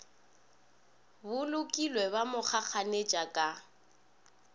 bolokilwe ba mo kgakganetša ka